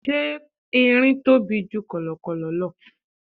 Ṣé Erin tóbi ju kọ̀lọ̀kọ̀lọ̀ lọ?